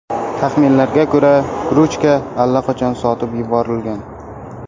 Taxminlarga ko‘ra, krujka allaqachon sotib yuborilgan.